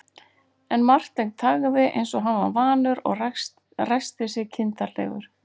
En Marteinn þagði eins og hann var vanur og ræskti sig kindarlegur.